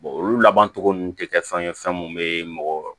olu laban cogo nunun te kɛ fɛn ye fɛn mun be mɔgɔ